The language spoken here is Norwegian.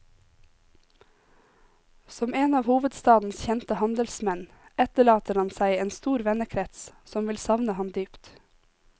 Som en av hovedstadens kjente handelsmenn etterlater han seg en stor vennekrets, som vil savne han dypt.